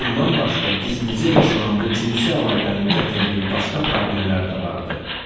Bundan başqa gizlicə yaşanan bu cinsi əlaqənin gətirdiyi başqa problemlər də vardı.